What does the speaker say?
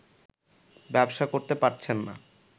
ব্যবসা করতে পারছেন না